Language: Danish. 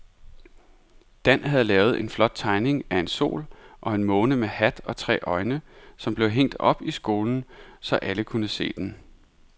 Dan havde lavet en flot tegning af en sol og en måne med hat og tre øjne, som blev hængt op i skolen, så alle kunne se den.